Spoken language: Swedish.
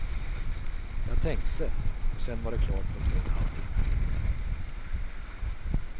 Jag tänkte och sen var det klart på två och en halv timme.